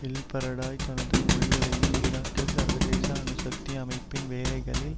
ElBaradei தனது முடிவுரையில் ஈராக்கில் சர்வதேச அணு சக்தி அமைப்பின் வேலைகளில்